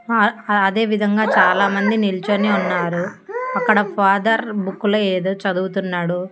హా ఆ అదేవిధంగా చాలామంది నిల్చొని ఉన్నారు అక్కడ ఫాదర్ బుక్కు లో ఏదో చదువుతున్నాడు.